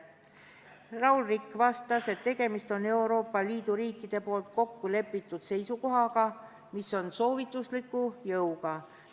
Raul Rikk vastas, et tegemist on Euroopa Liidu riikide poolt kokku lepitud seisukohaga, mis on soovitusliku jõuga.